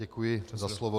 Děkuji za slovo.